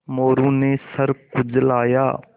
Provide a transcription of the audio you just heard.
मोरू ने सर खुजलाया